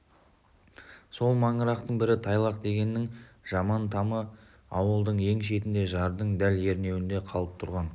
сол маңырақтың бірі тайлақ дегеннің жаман тамы ауылдың ең шетінде жардың дәл ернеуінде қалып тұрған